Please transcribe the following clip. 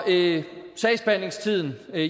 det sagsbehandlingstiden er